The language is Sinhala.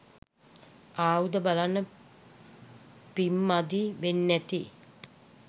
ආයුධ බලන්න පිංමදි වෙන්නැති